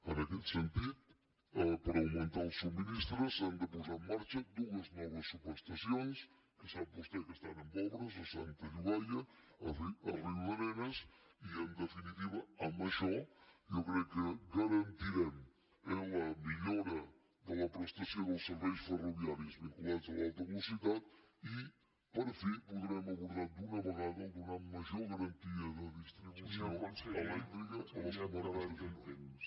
en aquest sentit per augmentar el subministrament s’han de posar en marxa dues noves subestacions que sap vostè que estan en obres a santa llogaia a riudarenes i en definitiva amb això jo crec que garantirem la millora de la prestació dels serveis ferroviaris vinculats a l’alta velocitat i per fi podrem abordar d’una vegada donar major garantia de distribució elèctrica a les comarques de girona